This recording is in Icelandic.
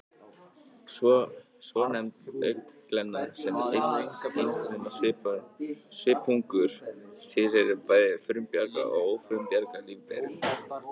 Svonefnd augnglenna, sem er einfruma svipungur, tilheyrir bæði frumbjarga og ófrumbjarga lífverum